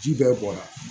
Ji bɛɛ bɔra